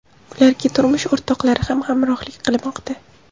Ularga turmush o‘rtoqlari ham hamrohlik qilmoqda.